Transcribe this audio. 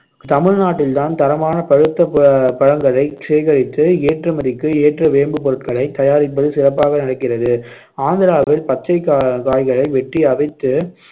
தமிழ்நாட்டில்தான் தரமான பழுத்த ப~ பழங்களை சேகரித்து ஏற்றுமதிக்கு ஏற்ற வேம்பு பொருட்களைத் தயாரிப்பது சிறப்பாக நடக்கிறது ஆந்திராவில் பச்சைக் கா~ காய்களை வெட்டி அவித்து